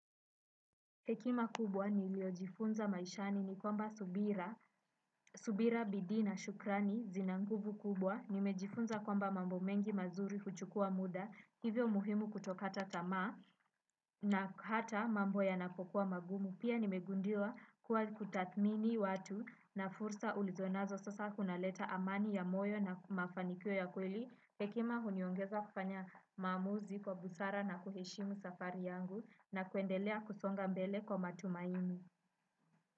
Hekima kubwa niliyojifunza maishani ni kwamba Subira, Subira Bidii na shukrani zina nguvu kubwa, nimejifunza kwamba mambo mengi mazuri huchukua muda, hivyo muhimu kutokata tamaa na hata mambo yanapokuwa magumu. Pia nimegundua kuwa kutathmini watu na fursa ulizo nazo sasa kunaleta amani ya moyo na mafanikio ya kweli. Hekima huniongeza kufanya maamuzi kwa busara na kuheshimu safari yangu na kuendelea kusonga mbele kwa matumaini.